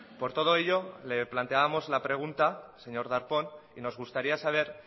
por todo ello le planteábamos la pregunta señor darpón y nos gustaría saber